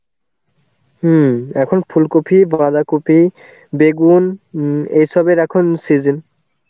হম, এখন ফুলকফি, বাধাকফি, বেগুন, এসবের এখন season.